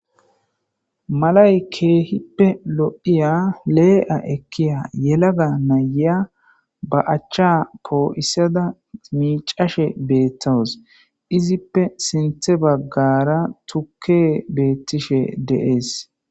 malay keehippe lo7iya lee7a ekkiya yelaga naya ba achcha koo7issada miicashe beettowos izippe sinthe baggara tukke beettishe deees